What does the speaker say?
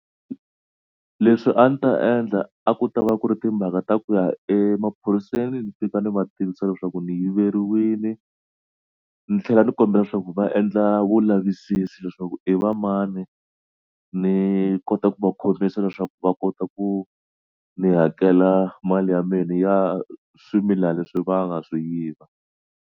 Leswi a ni ta endla a ku ta va ku ri timhaka ta ku ya emaphoriseni ni fika ni va tivisa leswaku ni yiveriwile ni tlhela ni kombela leswaku va endla vulavisisi leswaku i va mani ni kota ku va khomisa leswaku va kota ku ni hakela mali ya mina ya swimilana leswi va nga swi yiva.